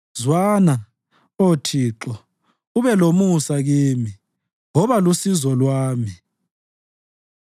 Zwana, Oh Thixo, ube lomusa kimi; woba lusizo lwami.”